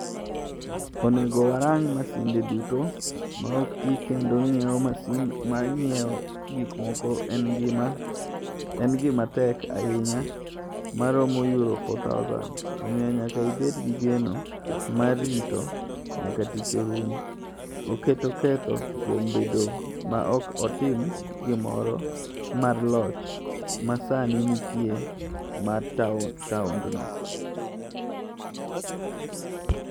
“Onego warang’ masinde duto ma ok ti kendo ng’iewo masin mar ng’iewo gikmoko en gima tek ahinya ma romo euro 4000, omiyo nyaka ibed gi geno mar rito nyaka tich orum” - Oketo ketho kuom bedo ma ok otim gimoro mar loch ma sani nitie mar taondno.